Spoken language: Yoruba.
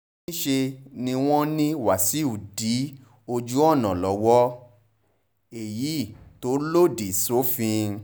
níṣẹ́ ni wọ́n ní wàsíù dí ojú ọ̀nà lọ́wọ́ ara ẹ̀ èyí tó lòdì sófin